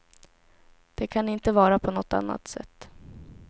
Det kan inte vara på något annat sätt.